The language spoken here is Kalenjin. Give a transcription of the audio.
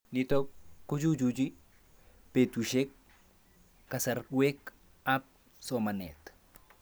Nitok kochuchuchi petushek kasarwek ab somanet